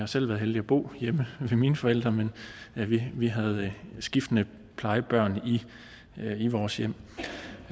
selv været heldig at bo hjemme ved mine forældre men vi vi havde skiftende plejebørn i vores hjem